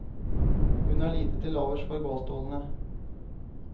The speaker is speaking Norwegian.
Hun har lite til overs for gåstolene.